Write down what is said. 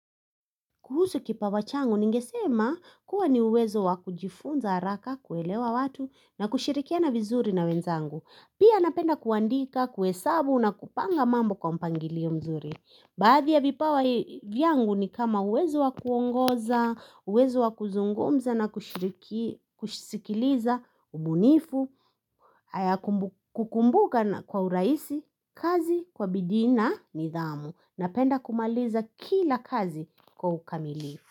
Kuhusu kipawa changu ningesema kuwa ni uwezo wa kujifunza haraka kuelewa watu na kushirikiana vizuri na wenzangu. Pia napenda kuandika, kuhesabu na kupanga mambo kwa mpangilio mzuri. Baadhi ya vipawa vyangu ni kama uwezo wa kuongoza, uwezo wa kuzungumza na kushiriki, kushisikiliza, ubunifu, kukumbuka kwa uraisi, kazi, kwa bidii na, nidhamu. Napenda kumaliza kila kazi kwa ukamili.